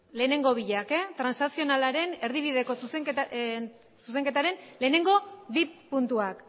lehenengo biak transazionalaren erdibideko zuzenketaren lehenengo bi puntuak